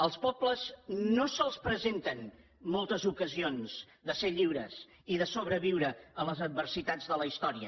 als pobles no se’ls presenten moltes ocasions de ser lliures i de sobreviure a les adversitats de la història